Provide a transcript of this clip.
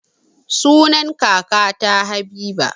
Sunan kakata habiba